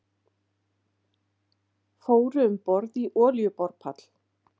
Fóru um borð í olíuborpall